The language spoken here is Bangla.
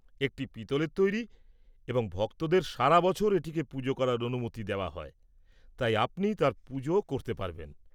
একটি পিতলের তৈরি এবং ভক্তদের সারা বছর এটিকে পূজা করার অনুমতি দেওয়া হয়, তাই আপনি তাঁর পূজা করতে পারবেন।